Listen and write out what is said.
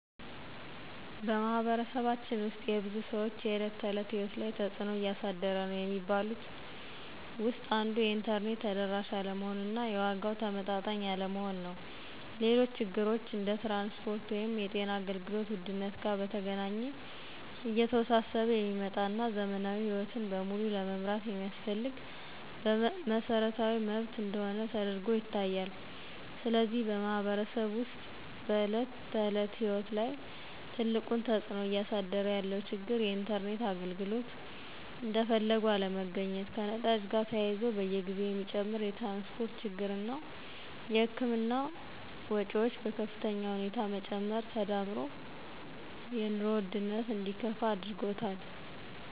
በማኅበረሰባችን ውስጥ የብዙ ሰዎች የዕለት ተዕለት ሕይወት ላይ ትጽእኖ እያሳደረ ነዉ የሚባሉት ውስጥ አንዱ የኢንተርኔት ተደራሽ አለመሆን እና የዋጋው ተመጣጣኝ አለመሆን ነው። ሌሎች ችግሮች እንደ ትራንስፖርት ወይም የጤና አገልግሎት ውድነት ጋር በተገናኘ እየተወሳሰበ የሚመጣ እና ዘመናዊ ሕይወትን በሙሉ ለመምራት የሚያስፈልግ መሰረታዊ መብት እንደሆነ ተደርጎ ይታያል። ስለዚህ በማኅበረሰቤ ውስጥ በዕለት ተዕለት ሕይወት ላይ ትልቁን ተጽዕኖ እያሳደረ ያለው ችግር የኢንተርኔት አገልግሎት እንደፈለጉ አለመገኘት፣ ከነዳጅ ጋር ተያይዞ በየጊዜው የሚጨምር የትራንስፖርት ችግር እና የህክምና ወጮች በከፍተኛ ሁኔታ መጨመር ተዳምሮ የኑሮ ውድነቱ እንዲከፋ አድርጎታል።